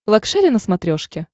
лакшери на смотрешке